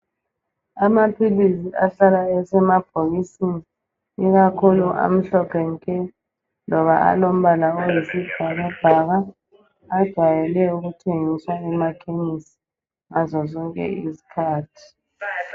Amaphilisi ahlala esemabhokisini ikakhulu amhlophe nke loba alombala oyisibhakabhaka. Ajayele ukuthengiswa emakhemisi ngazozonke izikhathi.